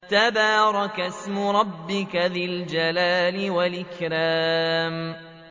تَبَارَكَ اسْمُ رَبِّكَ ذِي الْجَلَالِ وَالْإِكْرَامِ